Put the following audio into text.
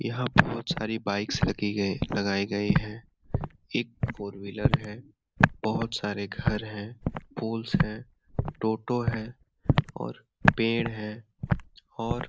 यहाँ बहुत सारी बाइक्स लगी है लगाई गई है एक फोर व्हीलर है बहुत सारे घर है फूल है टोटो है और पेड़ है और --